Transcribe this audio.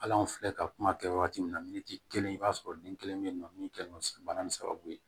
Hal'anw filɛ ka kuma kɛ wagati min na miniti kelen i b'a sɔrɔ den kelen bɛ yen nɔ min kɛlen do bana nin sababu ye